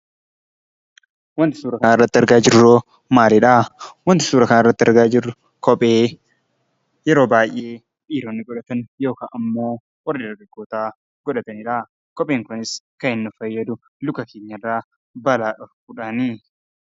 Wanti suuraa kanarratti argaa jirru maalidhaa? Wanti suuraa kana irratti argaa jirru kophee yeroo baay'ee dhiiroonni godhatan yookaan ammoo warri dargaggoota godhatanidha. Kopheen kunis kan inni nu fayyadu luka keenya irraa balaa dhorkuudhaani.